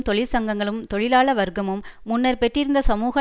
தொழிற்சங்கங்களும் தொழிலாள வர்க்கமும் முன்னர் பெற்றிருந்த சமூக